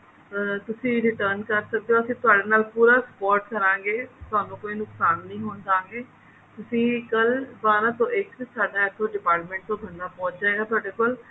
ਅਹ ਤੁਸੀਂ return ਕਰ ਸਕਦੇ ਹੋ ਅਸੀਂ ਤੁਹਾਡੇ ਨਾਲ ਪੂਰਾ support ਕਰਾਂਗੇ ਤੁਹਾਨੂੰ ਕੋਈ ਨੁਕਸਾਨ ਨਹੀਂ ਹੋਣ ਦਿਆਂਗੇ ਤੁਸੀਂ ਕੱਲ ਬਾਰਹ ਤੋਂ ਇਕ ਸਾਡਾ ਇੱਥੋਂ department ਤੋਂ ਬੰਦਾ ਪਹੁੰਚ ਜਾਏਗਾ ਤੁਹਾਡੇ ਕੋਲ